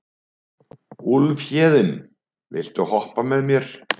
Úlfhéðinn, viltu hoppa með mér?